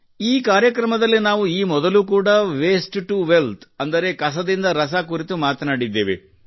ಈ ಕಾರ್ಯಕ್ರಮದಲ್ಲಿ ನಾವು ಈ ಮೊದಲು ಕೂಡಾ ವೇಸ್ಟ್ ಟು ವೆಲ್ತ್ ಅಂದರೆ ಕಸದಿಂದ ರಸ ಕುರಿತು ಮಾತನಾಡಿದ್ದೇವೆ